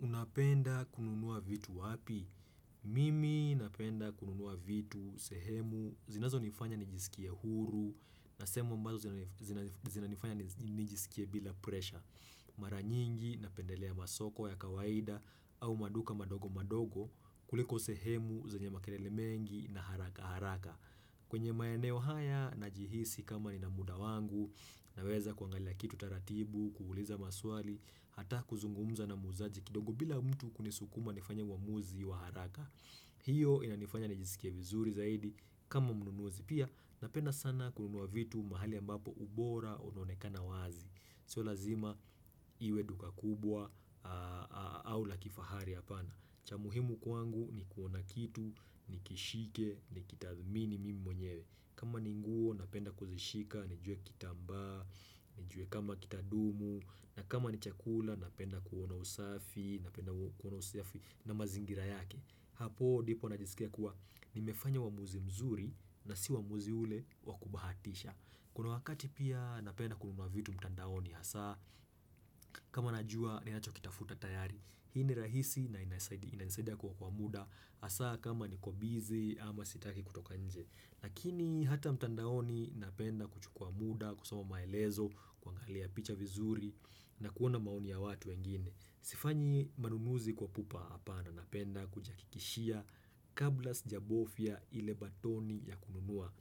Unapenda kununua vitu wapi? Mimi napenda kununua vitu, sehemu, zinazo nifanya nijisikie huru, nasehemu ambazo zinanifanya nijisikie bila presha. Maranyingi, napendelea masoko ya kawaida au maduka madogo madogo kuliko sehemu, zenyema kelele mengi na haraka haraka. Kwenye maeneo haya na jihisi kama ni na muda wangu na weza kuangalia kitu taratibu, kuuliza maswali, hata kuzungumza na muzaji kidogo bila mtu kunisukuma nifanya uamuzi wa haraka. Hiyo inanifanya nijisikia vizuri zaidi kama mnunuzi pia napenda sana kununua vitu mahali ambapo ubora uaonekana wazi. Sio lazima iwe duka kubwa au la kifahari hapana. Cha muhimu kwangu ni kuona kitu, ni kishike, ni kitathmini mimi mwenyewe. Kama ni nguo napenda kuzishika, nijue kitamba, nijue kama kitadumu, na kama ni chakula napenda kuona usafi, napenda kuona usafi na mazingira yake. Hapo dipo najisikia kuwa nimefanya uamuzi mzuri na si wamuzi ule wakubahatisha. Kuna wakati pia napenda kununua vitu mtandaoni hasa, kama najua ni nacho kitafuta tayari. Hii ni rahisi na inasaidia kuokoa muda, hasa kama ni kwa bizi ama sitaki kutoka nje. Lakini hata mtandaoni napenda kuchukwa muda, kusoma maelezo, kuangalia picha vizuri na kuona maoni ya watu wengine. Sifanyi manunuzi kwa pupa hapa na napenda kujaha kikishia kabla sijabovya ile batoni ya kununua.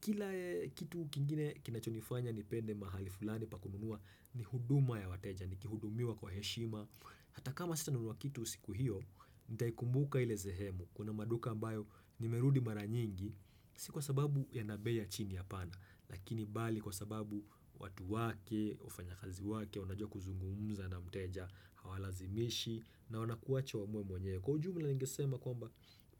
Kila kitu kingine kinachonifanya ni pende mahali fulani pa kununua ni huduma ya wateja, ni kihudumiwa kwa heshima Hata kama sita nunua kitu siku hiyo, nitai kumbuka ile zehemu Kuna maduka mbayo ni merudi maranyingi, si kwa sababu yana bei chini hapana Lakini bali kwa sababu watu wake, wafanya kazi wake, wanajua kuzungumza na mteja, hawalazimishi na wanakuwaacha wa uamuwe mwenyewe Kwa ujumla ningesema kwamba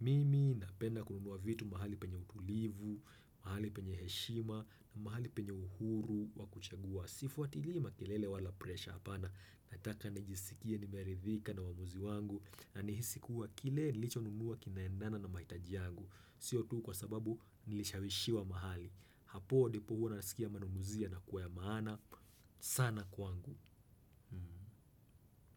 mimi napenda kununua vitu mahali penye utulivu, mahali penye heshima, mahali penye uhuru, wakuchagua, sifuatili ma klele wala presha hapana, nataka nijisikia nimeridhika na uwamuzi wangu, na nihisikuwa kile nilicho nunua kinaendana na mahitaji wangu, sio tu kwa sababu nilishawishi wa mahali, hapo ndipo huwa unasikia manunuzia yana kuwa ya maana, sana kwangu.